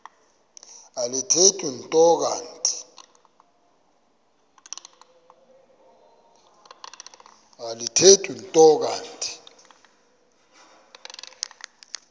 alithethi nto kanti